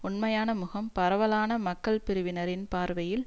உண்மையான முகம் பரவலான மக்கள் பிரிவினரின் பார்வையில்